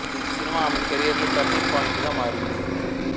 ఈ సినిమా ఆమె కెరీర్ లో టర్నింగ్ పాయింట్ గా మారింది